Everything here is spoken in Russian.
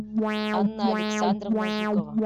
анна александровна жукова